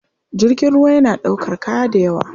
Jirgin ruwa yana ɗaukar kaya da yawa.